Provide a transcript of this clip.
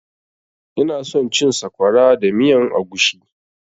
Ina son cin sakwara da miyan agushi